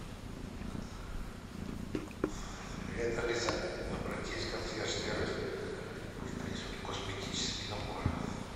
привет алиса обратись в консьерж сервис пусть принесут косметический набор